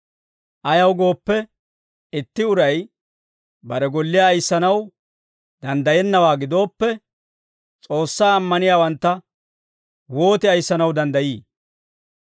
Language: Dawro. Ayaw gooppe, itti uray bare golliyaa ayissanaw danddayennawaa gidooppe, S'oossaa ammaniyaawantta wooti ayissanaw danddayii?